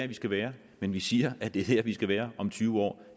vi skal være men vi siger det er dér vi skal være om tyve år